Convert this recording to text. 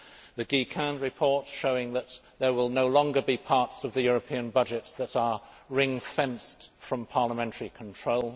the Guy Quint report showing that there will no longer be parts of the European budget that are ring fenced from parliamentary control